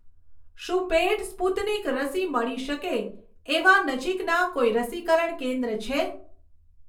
શું paid Sputnik રસી મળી શકે એવાં નજીકના કોઈ રસીકરણ કેન્દ્ર છે?